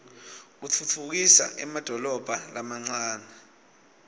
utfutfukisa emadolobha lamancane